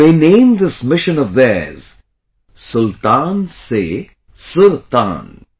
They named this mission of their 'Sultan se SurTan'